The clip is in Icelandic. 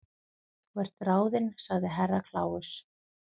Þú ert ráðin sagði Herra Kláus.